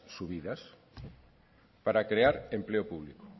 subidas para crear empleo público